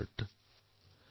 এয়াও হৃদয়স্পৰ্শী